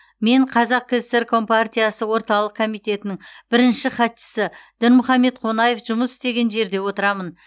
мен қазақ кср компартиясы орталық комитетінің бірінші хатшысы дінмұхаммед қонаев жұмыс істеген жерде отырамын